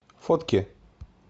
фотки